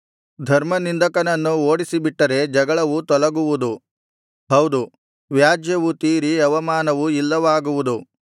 ಧರ್ಮನಿಂದಕನನ್ನು ಓಡಿಸಿಬಿಟ್ಟರೆ ಜಗಳವು ತೊಲಗುವುದು ಹೌದು ವ್ಯಾಜ್ಯವು ತೀರಿ ಅವಮಾನವು ಇಲ್ಲವಾಗುವುದು